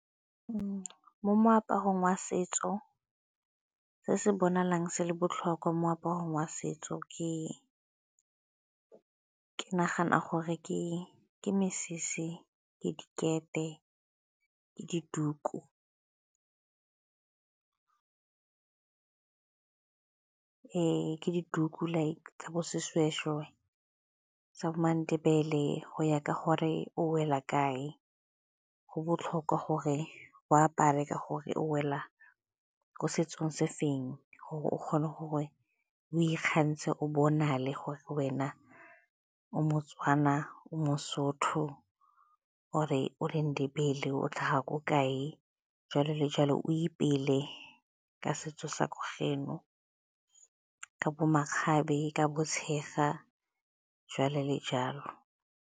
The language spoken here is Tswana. Mo moaparong wa setso, se se bonagalang se le botlhokwa moaparo wa setso ke nagana gore ke mesese le dikete le dituku. Ke dituku like tsa bo seshweshwe sa bo maNdebele go ya ka gore o wela kae. Go botlhokwa gore o apare ka gore o wela ko setsong se feng gore o kgone gore o ikgantshe, o bonagale wena o moTswana, o moSotho, or-e o leNdebele o tlhaga ko kae, jalo le jalo, o ipele ka setso sa ko geno ka bo makgabe, ka bo tshega, jalo le jalo.